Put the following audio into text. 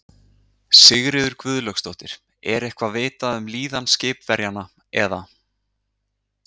Sigríður Guðlaugsdóttir: Er eitthvað vitað um líðan skipverjanna eða?